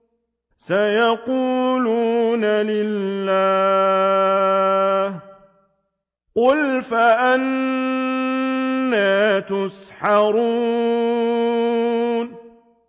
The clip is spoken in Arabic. سَيَقُولُونَ لِلَّهِ ۚ قُلْ فَأَنَّىٰ تُسْحَرُونَ